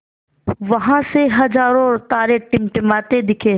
वहाँ उसे हज़ारों तारे टिमटिमाते दिखे